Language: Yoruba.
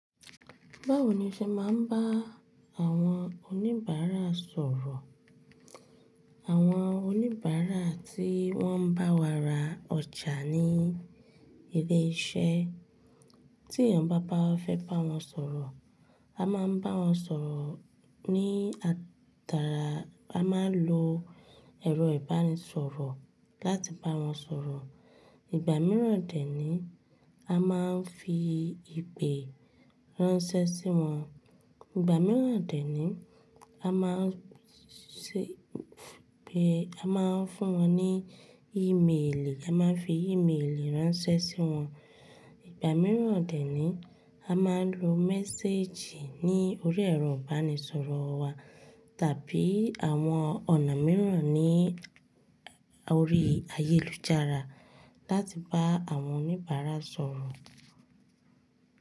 Báwo ni o ṣe máa ń bá àwọn oníbàárà sọ̀rọ̀? Àwọn oníbàárà tí wọ́n ń bá wa ra ọjà ní ilé iṣẹ́ tí èèyàn bá bá fẹ́ bá wọn sọ̀rọ̀, a máa ń bá wọn sọ̀rọ̀ ní atara, a máa ń lo ẹ̀rọ ìbánisọ̀rọ̀ láti bá wọn sọ̀rọ̀. Ìgbà mìíràn dè ní a máa ń fi ìpè ránṣẹ́ sí wọn. Ìgbà mìíràn dè níyi a máa ń ṣe, a máa ń fún wọn ní ímélì, a máa ń fi ímélì ránṣẹ́ sí wọn. Ìgbà mìíràn dè ní a máa ń lo méséjì ní orí ẹ̀rọ ìbánisọ̀rọ̀ wa tàbí àwọn ọ̀nà mìíràn ní orí ayélujára láti bá àwọn oníbàárà sọ̀rọ̀.